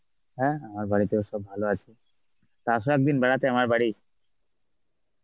হ্যাঁ হ্যাঁ আমার বাড়িতেও সব ভালো আছে. তা আসো একদিন বেড়াতে আমার বাড়ি.